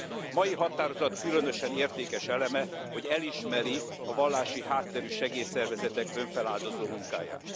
A mai határozat különösen értékes eleme, hogy elismeri a vallási hátterű segélyszervezetek önfeláldozó munkáját.